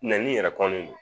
Nɛnini yɛrɛ kɔnni no